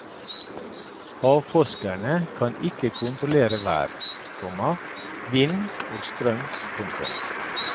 Havforskere kan ikke kontrollere vær, komma vind og strøm. punktum